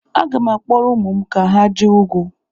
Aga m akpọrọ ụmụ m ka ha je hụ ugwu.